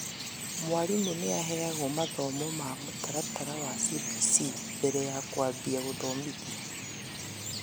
Mwarimũ nĩaheagwo mathomo ma mũtaratara wa CBC mbere ya kwambia gũthomithia